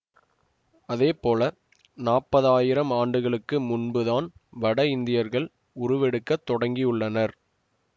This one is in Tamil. அதேபோல நாப்பதாயிரம் ஆண்டுகளுக்கு முன்புதான் வட இந்தியர்கள் உருவெடுக்கத் தொடங்கியுள்ளனர்